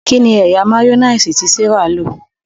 kíni ẹyà mayonnaise tí Serah ló?